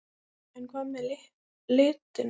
En hvað með litina?